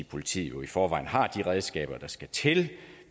politiet jo i forvejen har de redskaber der skal til